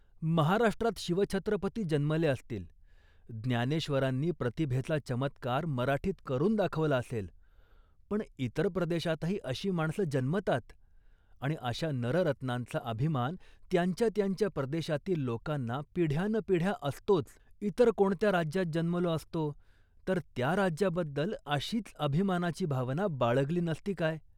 महाराष्ट्रात शिवछत्रपती जन्मले असतील, ज्ञानेश्वरांनीही प्रतिभेचा चमत्कार मराठीत करून दाखवला असेल, पण इतर प्रदेशातही अशी माणसं जन्मतात आणि अशा नररत्नांचा अभिमान त्यांच्या त्यांच्या प्रदेशातील लोकांना पिढ्यानपिढ्या असतोच. इतर कोणत्या राज्यात जन्मलो असतो तर त्या राज्याबद्दल अशीच अभिमानाची भावना बाळगली नसती काय